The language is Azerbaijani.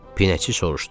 Pinəçi soruşdu.